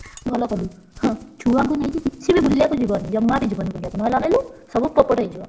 ଭଲ କଲୁ ହଁ ଛୁଆଙ୍କୁ ନେଇକି କିଛିବି ବୁଲିଆକୁ ଯିବନି ଜମା ବି ଯିବନି ବୁଲିଆକୁ ନହେଲେ ଅନେଇଲୁ ସବୁ ପୋପଟ ହେଇଯିବ।